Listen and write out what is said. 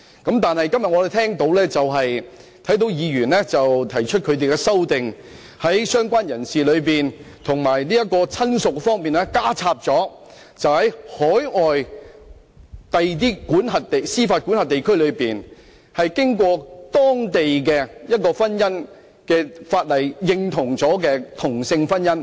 可是，我今天看到有議員提出修正案，建議在"相關人士"及"親屬"的定義上，加入在海外的司法管轄區註冊、並獲當地的婚姻法例認同的同性婚姻。